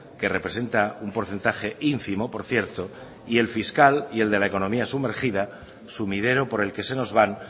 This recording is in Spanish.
que representa un porcentaje ínfimo por cierto y el fiscal y el de la economía sumergida sumidero por el que se nos van